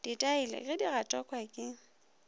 dithaele ge di gatakwa ke